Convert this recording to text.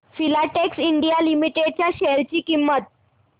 Filatex India limited च्या share ची किंमत